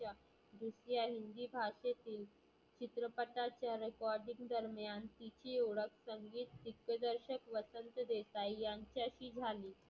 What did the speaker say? दुसऱ्या हिंदी भाषेतील चित्रपटाच्या recording दरम्यान तिची ओळख संगित दिग्दर्शक वसंत देसाई यांच्याशी झाली.